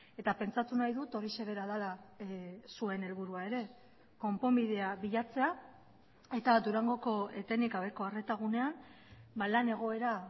eta pentsatu nahi dut horixe bera dela zuen helburua ere konponbidea bilatzea eta durangoko etenik gabeko arreta gunean lan egoera